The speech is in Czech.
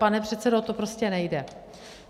Pane předsedo, to prostě nejde.